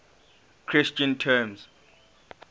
christian terms